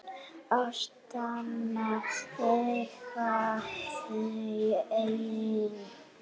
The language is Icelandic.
Ástina eiga þau ein.